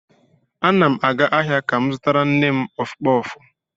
Ana m aga ahịa ka m zụtara nne m kpọf kpọf.